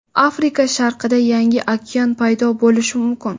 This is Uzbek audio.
Afrika sharqida yangi okean paydo bo‘lishi mumkin.